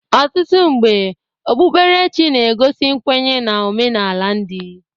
Ọtụtụ mgbe okpukperechi na-egosi nkwenye na omenala ndị.